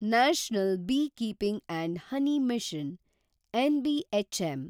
national beekeeping & honey mission (NBHM)